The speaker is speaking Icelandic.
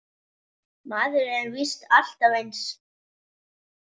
Maður er víst alltaf eins!